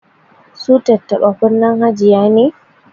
Su tattaba kunnen hajiya ne